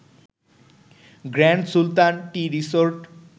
grand Sultan tea resort